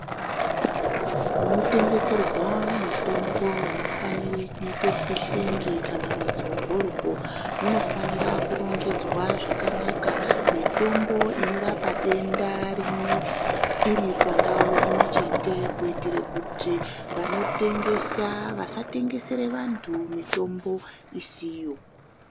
Munotengeserwa mitombo amufanirwe kuit fihlengi kana modyodyo munofsnira kurongedzwa zvakanaka mitombo inorapa denda rimwe iri pandawu imwe chete kuitira kuti vanotengesa vasatengesere vandu mitombo isiriyo.